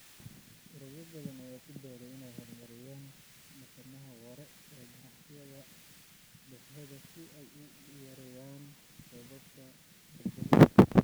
Ururo badan ayaa ku dadaalaya inay horumariyaan dhaqamada waara ee ganacsiyada dhexdooda si ay u yareeyaan raadkooda kaarboonka.